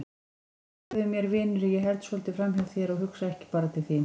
Fyrirgefðu mér vinur að ég held svolítið framhjá þér og hugsa ekki bara til þín.